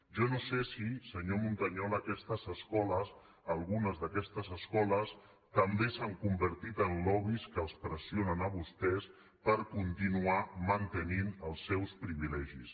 jo no sé si senyor montañola aquestes escoles algunes d’aquestes escoles també s’han convertit en lobbys que els pressionen a vostès per continuar mantenint els seus privilegis